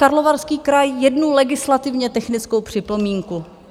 Karlovarský kraj - jednu legislativně technickou připomínku.